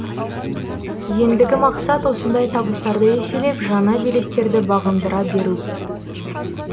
ендігі мақсат осындай табыстарды еселеп жаңа белестерді бағындыра беру